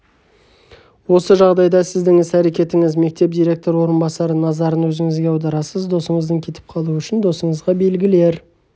осы жағдайда сіздің іс-әрекетіңіз мектеп директоры орынбасары назарын өзіңізге аударасыз досыңыз кетіп қалуы үшін досыңызға белгілер